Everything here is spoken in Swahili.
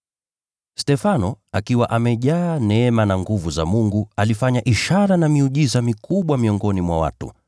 Stefano, akiwa amejaa neema na nguvu za Mungu, alifanya ishara na miujiza mikubwa miongoni mwa watu.